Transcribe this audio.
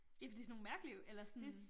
Ja for det sådan nogle mærkelige eller sådan